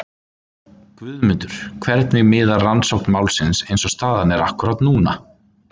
Guðmundur, hvernig miðar rannsókn málsins eins og staðan er akkúrat núna?